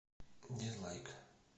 дизлайк